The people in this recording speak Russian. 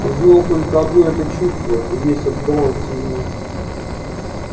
он знал только одно это чувство и весь отдавался ему